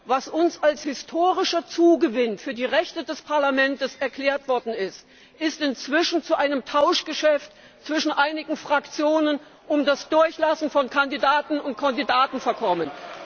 Was uns als historischer Zugewinn für die Rechte des Parlamentes erklärt worden ist, ist inzwischen zu einem Tauschgeschäft zwischen einigen Fraktionen um das Durchlassen von Kandidatinnen und Kandidaten verkommen.